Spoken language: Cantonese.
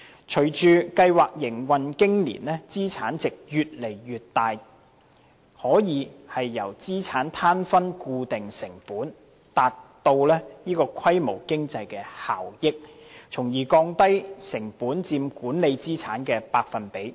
隨着計劃營運經年，資產值越來越大，可以由資產攤分固定成本，達致規模經濟效益，從而降低成本佔管理資產的百分比。